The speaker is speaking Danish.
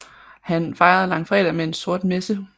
Han fejrede langfredag med en sort messe